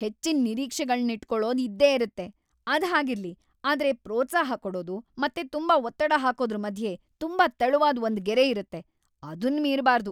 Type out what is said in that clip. ಹೆಚ್ಚಿನ್ ನಿರೀಕ್ಷೆಗಳ್ನಿಟ್ಕೊಳೋದ್‌ ಇದ್ದೇ ಇರತ್ತೆ, ಅದ್ ಹಾಗಿರ್ಲಿ, ಆದ್ರೆ ಪ್ರೋತ್ಸಾಹ ಕೊಡೋದು ಮತ್ತೆ ತುಂಬಾ ಒತ್ತಡ ಹಾಕೋದ್ರು ಮಧ್ಯೆ ತುಂಬಾ ತೆಳುವಾದ್‌ ಒಂದ್‌ ಗೆರೆ ಇರತ್ತೆ, ಅದುನ್‌ ಮೀರ್‌ಬಾರ್ದು!